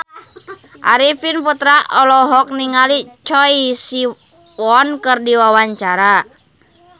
Arifin Putra olohok ningali Choi Siwon keur diwawancara